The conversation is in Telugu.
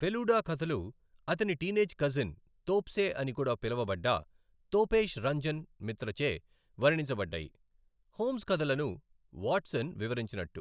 ఫెలుడా కథలు అతని టీనేజ్ కజిన్, తోప్సే అని కూడా పిలువబడ్డ, తోపేష్ రంజన్ మిత్రచే వర్ణించబడ్డాయి, హోమ్స్ కధలను వాట్సన్ వివరించినట్టు.